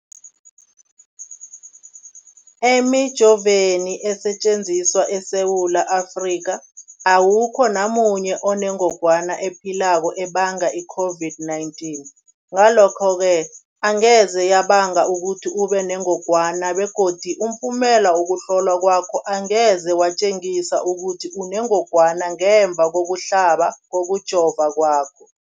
Emijoveni esetjenziswa eSewula Afrika, awukho namunye onengog wana ephilako ebanga i-COVID-19. Ngalokho-ke angeze yabanga ukuthi ubenengogwana begodu umphumela wokuhlolwan kwakho angeze watjengisa ukuthi unengogwana ngemva kokuhlaba, kokujova kwakho.